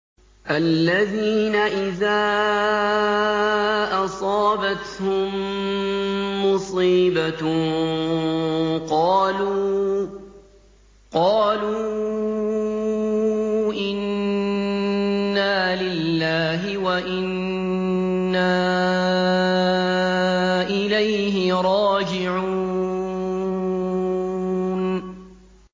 الَّذِينَ إِذَا أَصَابَتْهُم مُّصِيبَةٌ قَالُوا إِنَّا لِلَّهِ وَإِنَّا إِلَيْهِ رَاجِعُونَ